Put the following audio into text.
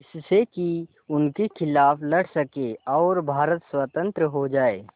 जिससे कि उनके खिलाफ़ लड़ सकें और भारत स्वतंत्र हो जाये